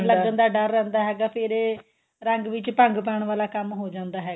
ਲੱਗਣ ਦਾ ਡਰ ਰਹਿੰਦਾ ਫੇਰ ਇਹ ਰੰਗ ਵਿੱਚ ਭੰਗ ਪਾਣ ਵਾਲਾ ਕੰਮ ਹੋ ਜਾਂਦਾ ਹੈਗਾ